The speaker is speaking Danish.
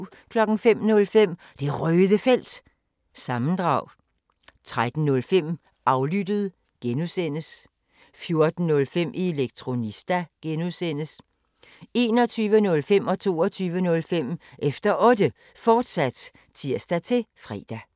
05:05: Det Røde Felt – sammendrag 13:05: Aflyttet (G) 14:05: Elektronista (G) 21:05: Efter Otte, fortsat (tir-fre) 22:05: Efter Otte, fortsat (tir-fre)